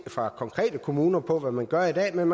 fra konkrete kommuner på hvad man gør i dag men